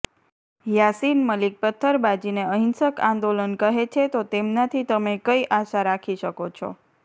યાસિન મલિક પથ્થરબાજીને અહિંસક આંદોલન કહે છે તો તેમનાથી તમે કઈ આશા રાખી શકો છો